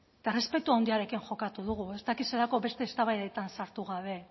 eta errespetu handiarekin jokatu dugu bestelako eztabaidetan sartu gabe